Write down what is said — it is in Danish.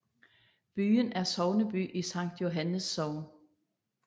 Byen er sogneby i Sankt Johannes Sogn